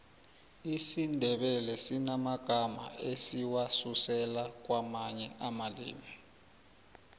isindebele sinamagamma esiwasusela kwamanye amalimi